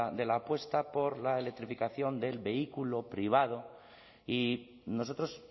de la apuesta por la electrificación del vehículo privado y nosotros